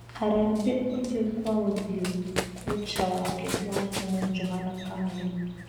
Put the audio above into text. Harambĩ ũthiũkwa ũthiũna kũcha wake wa tene Johana Kamenyi.